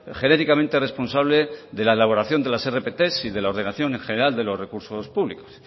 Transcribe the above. genéricamente responsable de la elaboración de las rpt y de la ordenación general de los recursos públicos